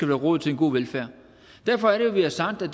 være råd til en god velfærd derfor er det vi har sagt at